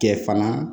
Kɛ fana